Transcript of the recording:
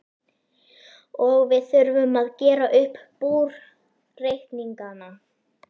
Og við þurfum að gera upp búreikningana!